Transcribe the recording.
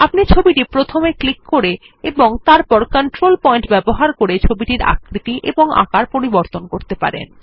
আপনি ছবিটি প্রথমে ক্লিক করে এবং তারপর কন্ট্রোল পয়েন্ট ব্যবহার করে ছবিটির আকৃতি এবং আকার পরিবর্তন করতে পারেন